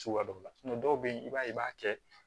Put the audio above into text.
Cogoya dɔ la dɔw bɛ yen i b'a ye i b'a kɛ